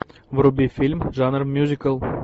вруби фильм жанр мюзикл